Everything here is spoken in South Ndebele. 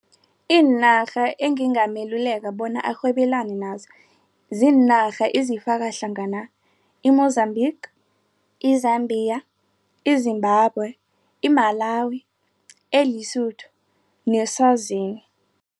Iinarha engingameluleka bona arhwebelane nazo ziinarha ezifakahlangana i-Mozambique, i-Zambia, i-Zimbabwe i-Malawi, e-Lesotho ne-Swazini.